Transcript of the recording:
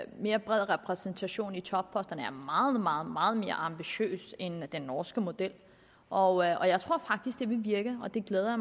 en mere bred repræsentation i topposterne er meget meget meget mere ambitiøst end den norske model og og jeg tror faktisk det vil virke og det glæder